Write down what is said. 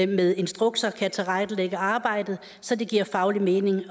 med instrukser kan tilrettelægge arbejdet så det giver faglig mening